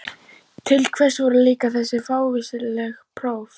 Til hvers voru líka þessi fávíslegu próf?